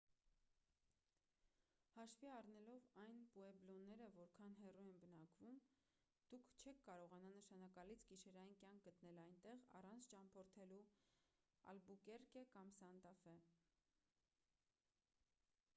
հաշվի առնելով թե պուեբլոները որքան հեռու են բնակվում դուք չեք կարողանա նշանակալից գիշերային կյանք գտնել այնտեղ առանց ճամփորդելու ալբուկերկե կամ սանտա ֆե